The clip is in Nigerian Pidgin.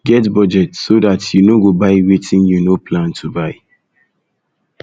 get budget so dat you no go buy wetin you no plan to buy